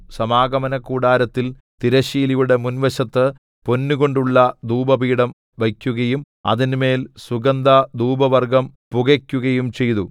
സമാഗമനകൂടാരത്തിൽ തിരശ്ശീലയുടെ മുൻവശത്ത് പൊന്നുകൊണ്ടുള്ള ധൂപപീഠം വയ്ക്കുകയും അതിന്മേൽ സുഗന്ധധൂപവർഗ്ഗം പുകയ്ക്കുകയും ചെയ്തു